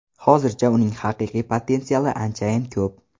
Hozircha uning haqiqiy potensiali anchayin ko‘p.